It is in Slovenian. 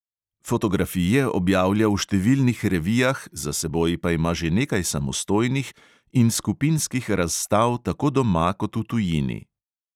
Fotografije objavlja v številnih revijah, za seboj pa ima že nekaj samostojnih in skupinskih razstav tako doma kot v tujini.